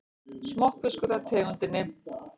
Smokkfiskur af tegundinni